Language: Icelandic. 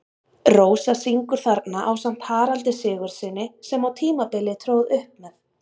Rósa syngur þarna ásamt Haraldi Sigurðssyni, sem á tímabili tróð upp með